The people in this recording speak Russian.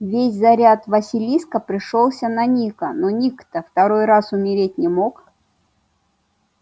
весь заряд василиска пришёлся на ника но ник-то второй раз умереть не мог